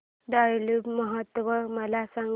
tulip महोत्सव मला सांग